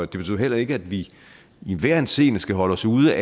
det betyder heller ikke at vi i enhver henseende skal holde os ude